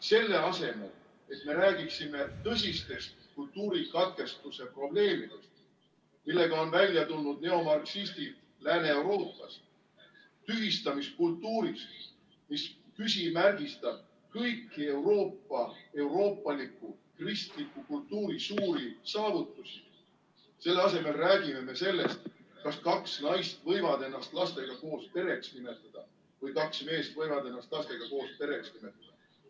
Selle asemel, et me räägiksime tõsistest kultuurikatkestuse probleemidest, millega on välja tulnud neomarksistid Lääne-Euroopas, tühistamiskultuurist, mis küsimärgistab kõiki Euroopa, euroopaliku, kristliku kultuuri suuri saavutusi, selle asemel räägime me sellest, kas kaks naist võivad ennast lastega koos pereks nimetada või kaks meest võivad ennast lastega koos pereks nimetada.